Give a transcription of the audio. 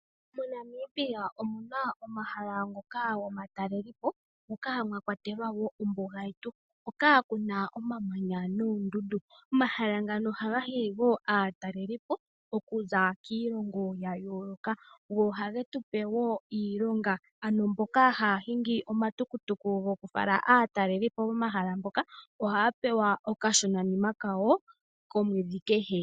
MoNamibia omuna omahala ngoka gomatalelepo moka mwakwatelwa ombuga yetu. Moka muna oondundu nomamanya. Omahala ngaka ohaga hili aatalelipo okuza kiilongo yayooloka . Go ohage tupe iilonga, ano mboka haya hingi ohaya pewa okashonanima kasho kehe komwedhi.